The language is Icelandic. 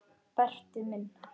Berti minn.